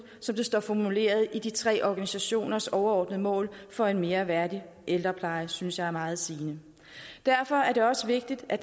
som det står formuleret i de tre organisationers overordnede mål for en mere værdig ældrepleje synes jeg er meget sigende derfor er det også vigtigt at